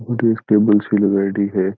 और एक टेबल सी लगयेड़ी है।